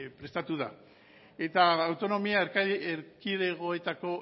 prestatu da eta autonomia erkidegoetako